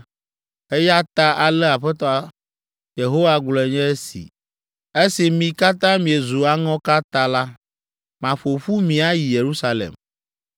Eya ta ale Aƒetɔ Yehowa gblɔe nye esi: ‘Esi mi katã miezu aŋɔka ta la, maƒo ƒu mi ayi Yerusalem.